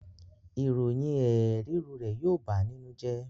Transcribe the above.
Ìròyìn Ẹ̀ẹ̀ẹ̀ ríru rẹ̀ yóó bàá nínú jẹ́.